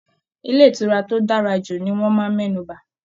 Ilé ìtura tó dára jù ní wọn máa mẹnuba.